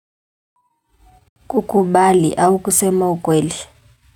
Kukubali au kusema ukweli.